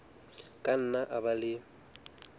ka nna a ba le